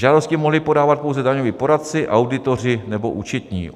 Žádosti mohli podávat pouze daňoví poradci, auditoři nebo účetní.